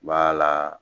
la